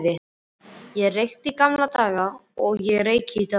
Ég reykti í gamla daga og ég reyki í dag.